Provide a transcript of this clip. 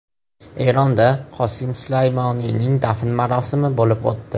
Eronda Qosim Sulaymoniyning dafn marosimi bo‘lib o‘tdi.